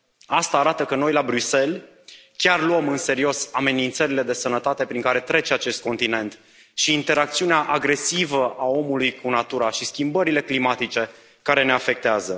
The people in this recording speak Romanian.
Asta arată că noi, la Bruxelles, chiar luăm în serios amenințările de sănătate prin care trece acest continent și interacțiunea agresivă a omului cu natura și schimbările climatice care ne afectează.